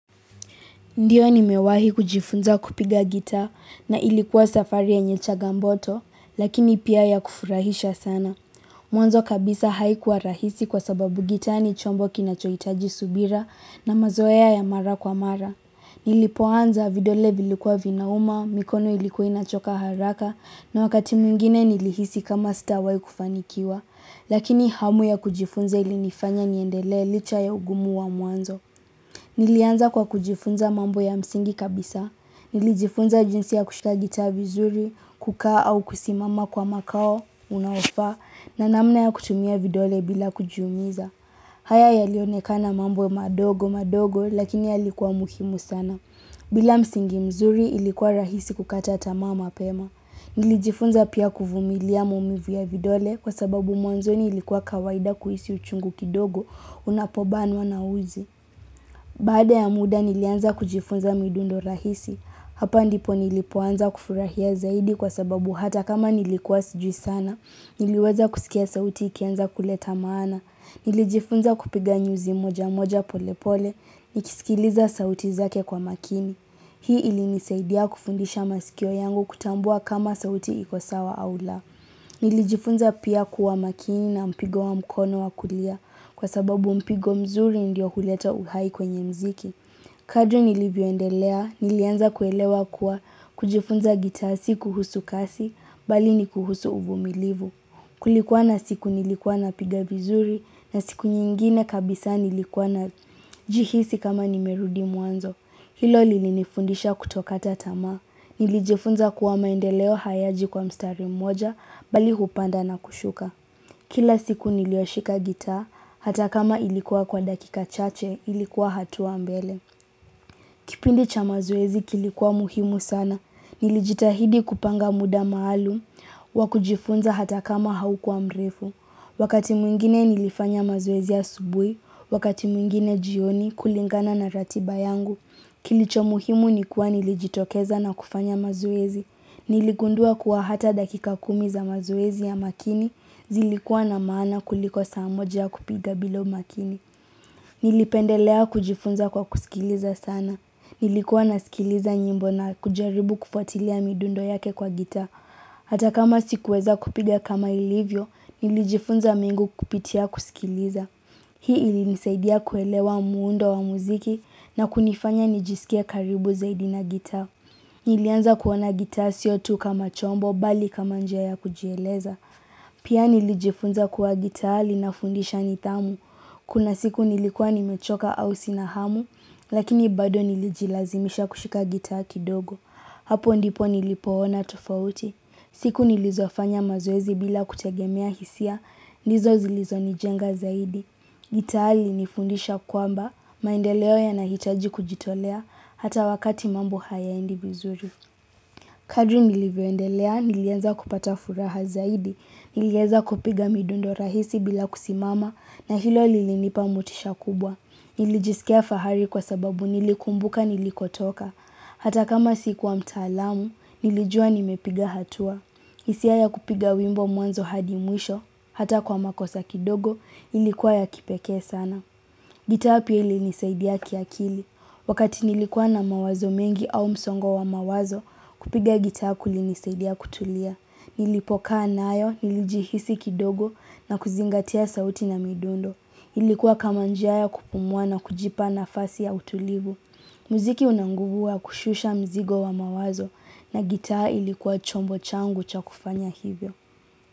Ndio nimewahi kujifunza kupiga gitaa na ilikuwa safari yenye changamoto, lakini pia ya kufurahisha sana. Mwanzo kabisa haikuwa rahisi kwa sababu gitaa ni chombo kinachohitaji subira na mazoea ya mara kwa mara. Nilipoanza vidole vilikuwa vinauma, mikono ilikuwa inachoka haraka na wakati mwingine nilihisi kama sitawahi kufanikiwa. Lakini hamu ya kujifunza ilinifanya niendelee licha ya ugumu wa mwanzo. Nilianza kwa kujifunza mambo ya msingi kabisa. Nilijifunza jinsi ya kushika gitaa vizuri, kukaa au kusimama kwa makao, unaofaa, na namna ya kutumia vidole bila kujiumiza. Haya yalionekana mambo madogo madogo lakini yalikuwa muhimu sana. Bila msingi mzuri ilikuwa rahisi kukata tamaa mapema. Nilijifunza pia kuvumilia maumivu ya vidole kwa sababu mwanzoni ilikuwa kawaida kuhisi uchungu kidogo unapobanwa na uzi. Baada ya muda nilianza kujifunza midundo rahisi, hapa ndipo nilipoanza kufurahia zaidi kwa sababu hata kama nilikuwa sijui sana, niliweza kusikia sauti ikianza kuleta maana, nilijifunza kupiga nyuzi moja moja pole pole, nikisikiliza sauti zake kwa makini. Hii ilinisaidia kufundisha masikio yangu kutambua kama sauti iko sawa au la. Nilijifunza pia kuwa makini na mpigo wa mkono wa kulia kwa sababu mpigo mzuri ndio huleta uhai kwenye mziki. Kadri nilivyoendelea, nilianza kuelewa kuwa kujifunza gitaa si kuhusu kasi, bali ni kuhusu uvumilivu. Kulikuwa na siku nilikuwa napiga vizuri na siku nyingine kabisa nilikuwa najihisi kama nimerudi mwanzo. Hilo lilinifundisha kutokata tamaa, nilijifunza kuwa maendeleo hayaji kwa mstari mmoja, bali hupanda na kushuka. Kila siku niliyoshika gitaa, hata kama ilikuwa kwa dakika chache, ilikuwa hatua mbele. Kipindi cha mazoezi kilikuwa muhimu sana, nilijitahidi kupanga muda maalum, wa kujifunza hata kama haukuwa mrefu. Wakati mwingine nilifanya mazoezi asubuhi, wakati mwingine jioni kulingana na ratiba yangu, kilicho muhimu ni kuwa nilijitokeza na kufanya mazoezi. Niligundua kuwa hata dakika kumi za mazoezi ya makini, zilikuwa na maana kuliko saa moja kupiga bila umakini. Nilipendelea kujifunza kwa kusikiliza sana. Nilikuwa nasikiliza nyimbo na kujaribu kufuatilia midundo yake kwa gitaa. Hata kama sikuweza kupiga kama ilivyo, nilijifunza mengu kupitia kusikiliza. Hii ilinisaidia kuelewa muundo wa muziki na kunifanya nijisikie karibu zaidi na gitaa. Nilianza kuona gitaa sio tu kama chombo bali kama njia ya kujieleza. Pia nilijifunza kuwa gitaa linafundisha nidhamu. Kuna siku nilikuwa nimechoka au sina hamu, lakini bado nilijilazimisha kushika gitaa kidogo. Hapo ndipo nilipoona tofauti. Siku nilizofanya mazoezi bila kutegemea hisia, ndizo zilizonijenga zaidi. Gitaa ilinifundisha kwamba, maendeleo yanahitaji kujitolea, hata wakati mambo hayaendi vizuri. Kadri nilivyoendelea nilianza kupata furaha zaidi. Nilieza kupiga midundo rahisi bila kusimama, na hilo lilinipa motisha kubwa. Nilijisikia fahari kwa sababu nilikumbuka nilikotoka, hata kama sikuwa mtaalamu nilijua nimepiga hatua. Hisia ya kupiga wimbo mwanzo hadi mwisho hata kwa makosa kidogo ilikuwa ya kipekee sana. Gitaa pia ilinisaidia kiakili. Wakati nilikuwa na mawazo mengi au msongo wa mawazo, kupiga gitaa kulinisaidia kutulia. Nilipokaa nayo, nilijihisi kidogo na kuzingatia sauti na midundo. Ilikuwa kama njia ya kupumua na kujipa nafasi ya utulivu. Muziki una nguvu wa kushusha mzigo wa mawazo na gitaa ilikuwa chombo changu cha kufanya hivyo.